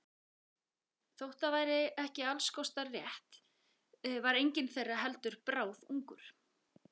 Þótt það væri ekki alls kostar rétt var enginn þeirra heldur bráðungur.